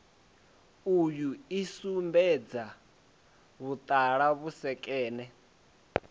uyu i sumbedza vhuṱala vhusekene